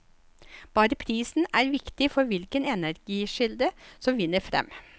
Bare prisen er viktig for hvilken energikilde som vinner frem.